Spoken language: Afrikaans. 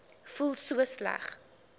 voel so sleg